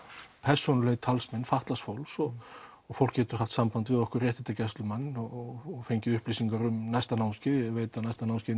persónulegir talsmenn fatlaðs fólks og og fólk getur haft samband við okkur réttindagæslumenn og fengið upplýsingar um næsta námskeið ég veit að næsta námskeið